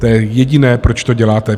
To je jediné, proč to děláte.